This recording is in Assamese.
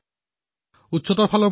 এয়া হল বিশ্বৰ সবাতোকৈ ওখ প্ৰতিমা